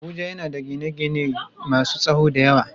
Abuja yana da gine-gine masun tsawo da yawa.